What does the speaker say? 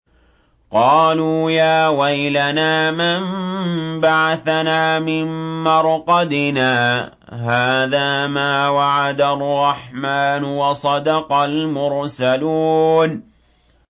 قَالُوا يَا وَيْلَنَا مَن بَعَثَنَا مِن مَّرْقَدِنَا ۜۗ هَٰذَا مَا وَعَدَ الرَّحْمَٰنُ وَصَدَقَ الْمُرْسَلُونَ